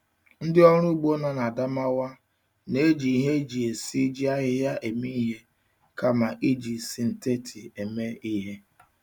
Ndị ọrụ ugbo nọ na Adamawa na-eji ihe eji esiji ahịhịa eme ihe kama iji sịntetị eme ihe.